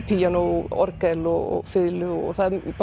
píanó orgel og fiðlu og